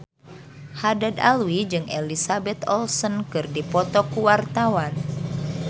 Haddad Alwi jeung Elizabeth Olsen keur dipoto ku wartawan